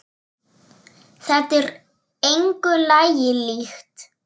Þetta er engu lagi líkt.